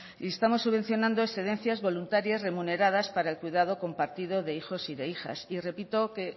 y estamos subvencionando excedencias voluntarias remuneradas para el cuidado compartido de hijos y de hijas y repito que